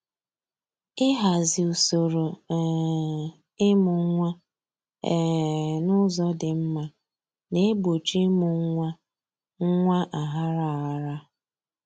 Ịhazi usoro um ịmụ nwa um n'ụzọ dị mma na-egbochi ịmụ nwa nwa aghara aghara